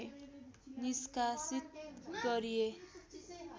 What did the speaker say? निष्कासित गरिए